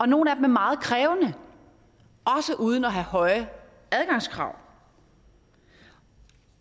nogle af dem er meget krævende også uden at have høje adgangskrav